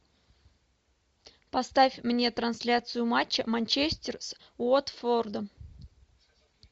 поставь мне трансляцию матча манчестер с уотфордом